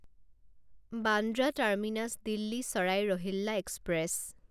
Bandra terminus Delhi Sarai Rohilla express